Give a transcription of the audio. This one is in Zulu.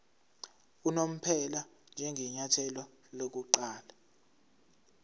unomphela njengenyathelo lokuqala